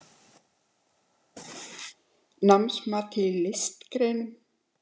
Námsmat í listgreinum